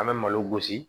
An bɛ malo gosi